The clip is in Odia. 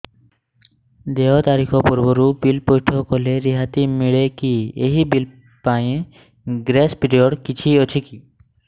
ଦେୟ ତାରିଖ ପୂର୍ବରୁ ବିଲ୍ ପୈଠ କଲେ ରିହାତି ମିଲେକି ଏହି ବିଲ୍ ପାଇଁ ଗ୍ରେସ୍ ପିରିୟଡ଼ କିଛି ଅଛିକି